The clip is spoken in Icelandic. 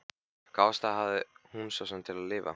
Hvaða ástæðu hafði hún svo sem til að lifa?